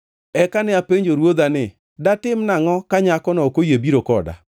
“Eka ne apenjo ruodha ni, ‘Datim nangʼo ka nyakono ok oyie biro koda?’